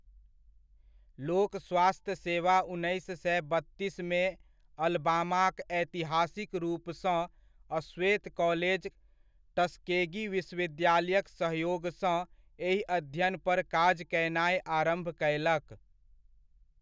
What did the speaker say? लोक स्वास्थ्य सेवा उन्नैस सए बत्तीसमे अलबामाक ऐतिहासिक रूपसँ अश्वेत कॉलेज टस्केगी विश्वविद्यालयक सहयोगसँ एहि अध्ययनपर काज कयनाय आरम्भ कयलक।